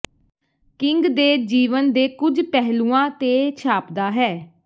king ਦੇ ਜੀਵਨ ਦੇ ਕੁਝ ਪਹਿਲੂਆਂ ਤੇ ਛਾਪਦਾ ਹੈ